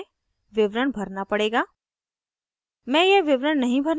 इस स्थिति में मुझे विवरण भरना पड़ेगा